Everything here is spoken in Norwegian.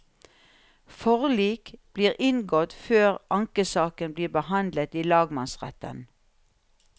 Forlik blir inngått før ankesaken blir behandlet i lagmannsretten.